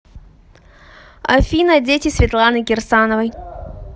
афина дети светланы кирсановой